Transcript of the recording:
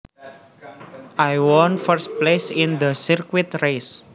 I won first place in the circuit race